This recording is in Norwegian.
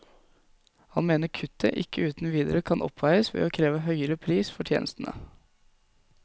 Han mener kuttet ikke uten videre kan oppveies ved å kreve høyere pris for tjenestene.